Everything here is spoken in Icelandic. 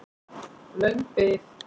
Löng bið